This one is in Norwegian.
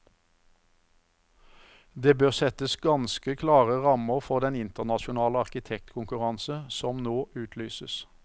Det bør settes ganske klare rammer for den internasjonale arkitektkonkurranse som nå utlyses.